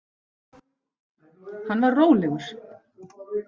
Hann var rólegur.